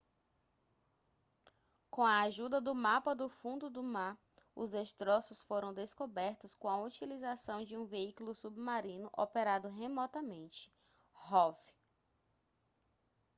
com a ajuda do mapa do fundo do mar os destroços foram descobertos com a utilização de um veículo submarino operado remotamente rov